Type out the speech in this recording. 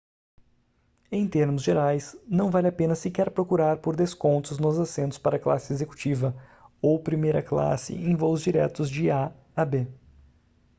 em termos gerais não vale a pena sequer procurar por descontos nos assentos para classe executiva ou primeira classe em voos diretos de a a b